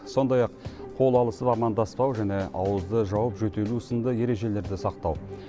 сондай ақ қол алысып амандаспау және ауызды жауып жөтелу сынды ережелерді сақтау